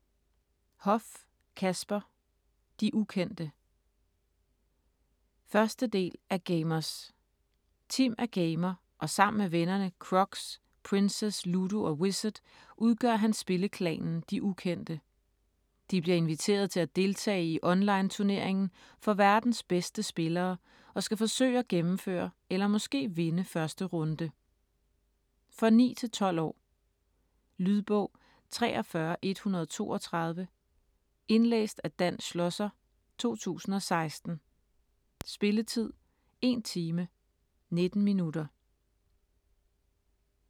Hoff, Kasper: De ukendte 1. del af Gamerz. Tim er gamer og sammen med vennerne, Croxx, Princess, Ludo og Wizard, udgør han spilleklanen "De ukendte". De bliver inviteret til at deltage i online turneringen for verdens bedste spillere, og skal forsøge at gennemføre eller måske vinde 1. runde. For 9-12 år. Lydbog 43132 Indlæst af Dan Schlosser, 2016. Spilletid: 1 time, 19 minutter.